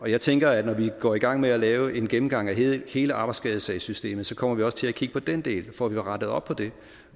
jeg tænker at når vi går i gang med at lave en gennemgang af hele arbejdsskadesagssystemet så kommer vi også til at kigge på den del og får rettet op på det